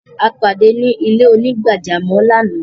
A padé ni ilẹ̀-onígbàjàmọ́ lána.